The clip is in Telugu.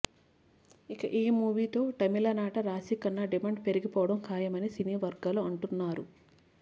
ఇక ఈ మూవీ తో తమిళనాట రాశిఖన్నా డిమాండ్ పెరిగిపోవడం ఖాయమని సినీ వర్గాలు అంటున్నారు